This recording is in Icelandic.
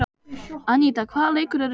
Aníta, hvaða leikir eru í kvöld?